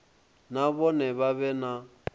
na vhone vha vhe na